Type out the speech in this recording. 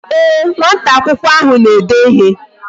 Ee, nwata akwụkwọ ahụ na-ede ịhe